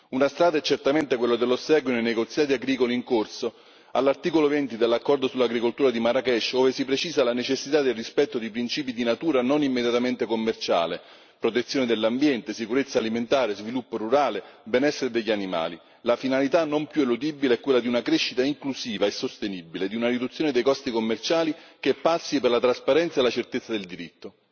Una strada è certamente quella dell'ossequio, nei negoziati agricoli in corso, all'articolo 20, dell'accordo sull'agricoltura di Marrakesh, dove si precisa la necessità del rispetto dei principi di natura non immediatamente commerciale protezione dell'ambiente, sicurezza alimentare, sviluppo rurale, benessere degli animali. La finalità non più eludibile è quella di una crescita inclusiva e sostenibile e di una riduzione dei costi commerciali che passi per la trasparenza e la certezza del diritto.